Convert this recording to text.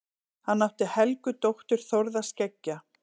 Hann átti Helgu dóttur Þórðar skeggja.